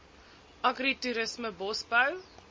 agri toerisme bosbou